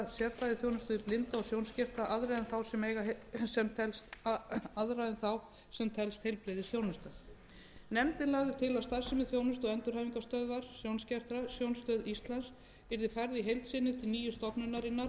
sérfræðiþjónustu við blinda og sjónskerta aðra en þá sem telst heilbrigðisþjónusta nefndin lagði til að starfsemi þjónustu og endurhæfingarstöðvar sjónskertra sjónstöðvar íslands yrði færð í heild sinni til nýju stofnunarinnar